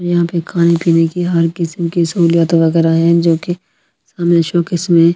यहां पे खाने पीने की हर किस्म की सहूलयात वगैरह हैं जो कि हमें शौक इसमें--